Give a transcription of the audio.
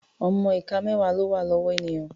Ọmọ ìka mẹ́wà ló wà lọ́wọ́ ènìyàn.